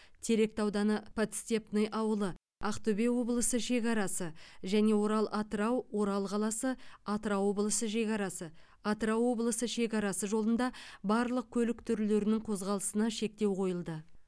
теректі ауданы подстепный ауылы ақтөбе облысы шекарасы және орал атырау орал қаласы атырау облысы шекарасы атырау облысы шекарасы жолында барлық көлік түрлерінің қозғалысына шектеу қойылды